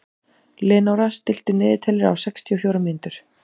Leónóra, stilltu niðurteljara á sextíu og fjórar mínútur.